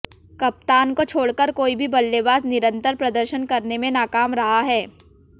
कप्तान को छोड़कर कोई भी बल्लेबाज निरंतर प्रदर्शन करने में नाकाम रहा है